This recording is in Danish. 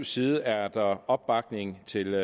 side er der opbakning til